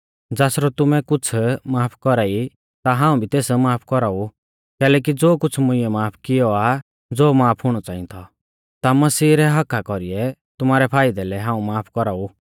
ज़ासरौ तुमैं कुछ़ माफ कौरा ई ता हाऊं भी तेस माफ कौराऊ कैलैकि ज़ो कुछ़ मुंइऐ माफ कियौ आ ज़ो माफ हुणौ च़ांई थौ ता मसीह रै हक्क्का कौरीऐ तुमारै फाइदै लै हाऊं माफ कौराऊ